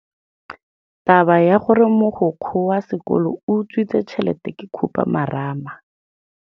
Taba ya gore mogokgo wa sekolo o utswitse tšhelete ke khupamarama.